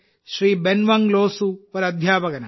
ബൻവങ് ലോസു ഒരു അധ്യാപകനാണ്